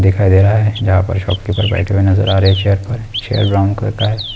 दिखाई दे रहा है जहां शॉपकीपर बैठे हुए नजर आ रहे है चेयर पर चेयर के ब्राउन कलर का है।